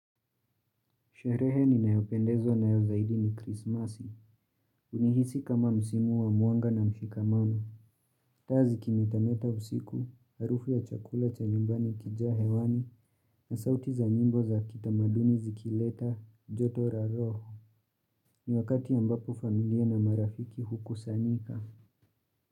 Sherehe ninayopendezwa nayo zaidi ni krismasi. Unihisi kama msimu wa mwanga na mshikamano. Taa zikimetameta usiku, harufu ya chakula cha nyumbani ikijaa hewani na sauti za nyimbo za kitamaduni zikileta joto ra roho. Ni wakati ambapo familia na marafiki hukusanika.